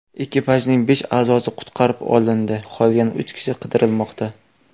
Ekipajning besh a’zosi qutqarib olindi, qolgan uch kishi qidirilmoqda.